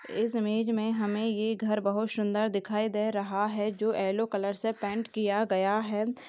इस इमेज मे हमे ये घर बहुत शुंदर दिखाई दे रहा है जो येल्लो कलर से पेंट किया गया है।